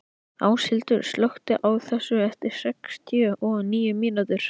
Áshildur, slökktu á þessu eftir sextíu og níu mínútur.